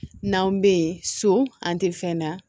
N'an bɛ yen so an tɛ fɛn na